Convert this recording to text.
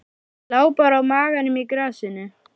Lá bara á maganum í grasinu.